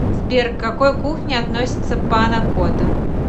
сбер к какой кухне относится пана кота